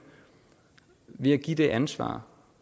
ved at give det ansvar